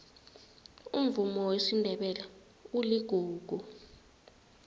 umvumo wesindebele uligugu